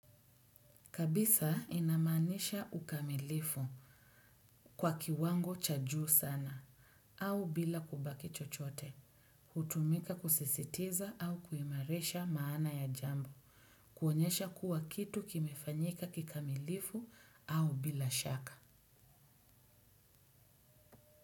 Kabisa inamaanisha ukamilifu kwa kiwango cha juu sana au bila kubaki chochote. Hutumika kusisitiza au kuimarisha maana ya jambo. Kuonyesha kuwa kitu kimefanyika kikamilifu au bila shaka.